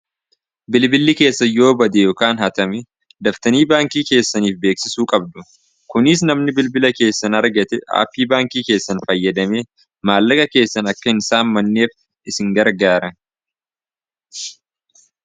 bilbilli keessanyoo bade yokaan hatame daftanii baankii keessaniif beeksisuu qabdu kuniis namni bilbila keessan argate aaphii baankii keessan fayyadame maallaga keessan akka hin saamanneef isin gargaara